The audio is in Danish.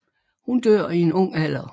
Hun dør i en ung alder